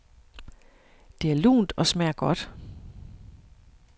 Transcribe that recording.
Det er lunt og smager godt.